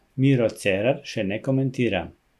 Miro Cerar še ne komentira.